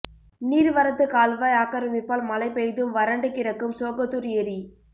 நீர்வரத்து கால்வாய் ஆக்கிரமிப்பால் மழை பெய்தும் வறண்டு கிடக்கும் சோகத்தூர் ஏரி